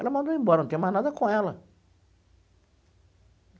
Ela mandou embora, não tenho mais nada com ela.